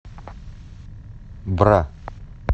бра